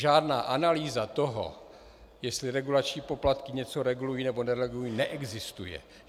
Žádná analýza toho, jestli regulační poplatky něco regulují, nebo neregulují, neexistuje.